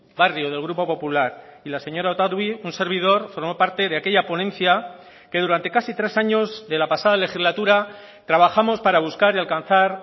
barrio del grupo popular y la señora otadui un servidor formó parte de aquella ponencia que durante casi tres años de la pasada legislatura trabajamos para buscar y alcanzar